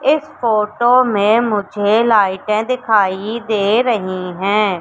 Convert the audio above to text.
इस फोटो में मुझे लाइटें दिखाई दे रही हैं।